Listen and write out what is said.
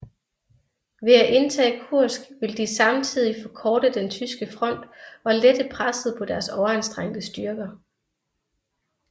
Ved at indtage Kursk ville de samtidigt forkorte den tyske front og lette presset på deres overanstrengte styrker